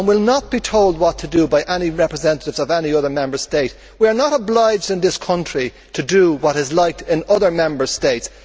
We will not be told what to do by any representatives of any other Member State. We are not obliged in this country to do what is liked in other Member States.